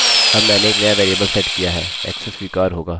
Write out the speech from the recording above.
यह पूर्ण मदद नहीं होगी